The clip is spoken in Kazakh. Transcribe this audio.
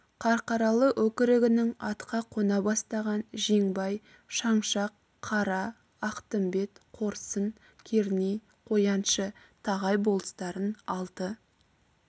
қарқаралы өкірігінің атқа қона бастаған жеңбай шаңшақ қара ақтымбет қорсын керней қояншы тағай болыстарын алты